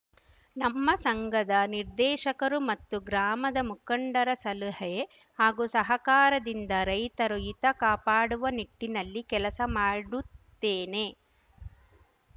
ನಮ್ಮ ಸಂಘದ ನಿರ್ದೇಶಕರು ಮತ್ತು ಗ್ರಾಮದ ಮುಖಂಡರ ಸಲಹೆ ಹಾಗೂ ಸಹಕಾರದಿಂದ ರೈತರು ಹಿತ ಕಾಪಾಡುವ ನಿಟ್ಟಿನಲ್ಲಿ ಕೆಲಸ ಮಾಡುತ್ತೇನೆ